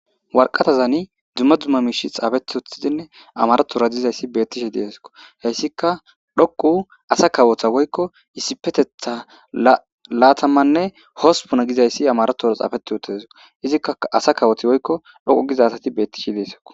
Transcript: Warqatazani dzumma dzumma miishi xaafetothidinne amarotora dizayssi beettishe deesko heyssika dhoqu asa kawotha woykko isipetetha laatamanne hospuna gizayssi amarotora xaafeti oteso izikka asa kawoti woykko dhoqu gizasati bettishe deeso